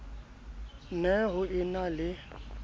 ne ho e na le